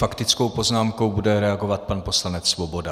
Faktickou poznámkou bude reagovat pan poslanec Svoboda.